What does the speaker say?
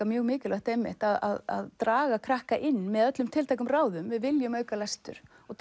mjög mikilvægt einmitt að draga krakka inn með öllum tiltækum ráðum við viljum auka lestur og